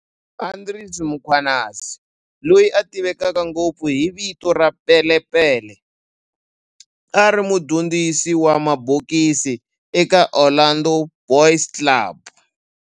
Andries Mkhwanazi, loyi a tiveka ngopfu hi vito ra"Pele Pele", a ri mudyondzisi wa mabokisi eka Orlando Boys Club